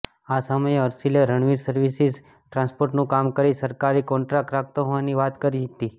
આ સમયે હર્ષીલે રણવીર સર્વિસીસ ટ્રાન્સપોર્ટનું કામ કરી સરકારી કોન્ટ્રાક્ટ રાખતો હોવાની વાત કરી હતી